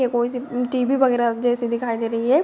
ये कोई सी टीवी वगैरा जैसे दिखाई दे रही है।